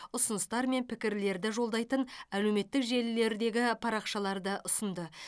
ұсыныстар мен пікірлерді жолдайтын әлеуметтік желілердегі парақшаларды ұсынды